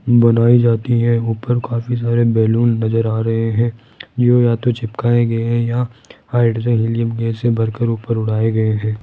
बनाई जाती है ऊपर काफी सारे बैलून नजर आ रहे है ये तो चिपकाए गए हैं या हाइड्रिल हिलियम गैस से भरकर ऊपर उड़ाए गए हैं।